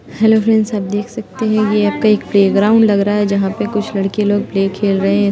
Hello friends आप देख सकती हैं ये आपका एक प्लेग्राउंड लग रहा है जहाँ पे कुछ लड़के लोग प्ले खेल रहे हैं।